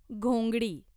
घोंगडी